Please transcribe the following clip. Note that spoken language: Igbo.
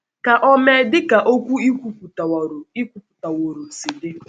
Ka o mee dị ka okwu i kwupụtaworo i kwupụtaworo si dị. ” um